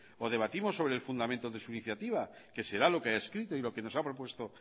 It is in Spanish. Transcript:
o debatimos sobre el fundamento de su iniciativa que será lo que haya escrito y lo que nos ha propuesto